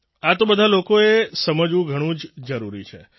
આ તો બધા લોકોએ સમજવું ઘણું જ જરૂરી છે